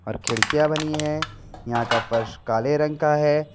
खिड़कियाँ बनी हैं यहाँ का फर्श काले रंग का है।